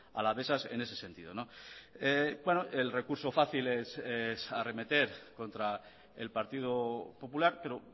alavesas en ese sentido el recurso fácil es arremeter contra el partido popular pero